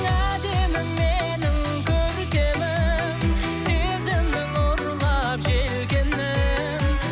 әдемім менің көркемім сезімнің ұрлап желкенін